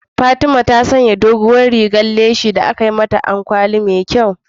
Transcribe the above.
Fatima ta sanya doguwar rigar leshi da aka yi mata ado da ɗan kwali mai kyau.